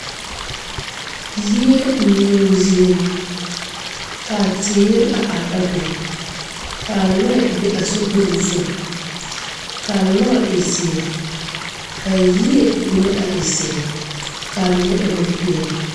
Yie meɛo zie kaa teere a are a be kaa lɔɛ be a sokpoŋ zu kaa lɔre e zeɛ kaa yie mine a e zeɛ kaa mine e bonpeɛle.